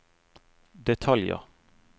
detaljer